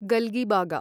गल्गीबागा